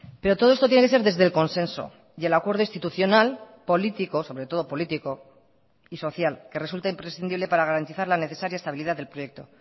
pero todo esto tiene que ser desde el consenso y el acuerdo institucional político sobre todo político y social que resulta imprescindible para garantizar la necesaria estabilidad del proyecto